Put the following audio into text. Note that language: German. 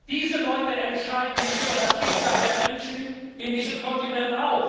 Diese Leute entscheiden auch über das Schicksal der Menschen in diesem Kontinent.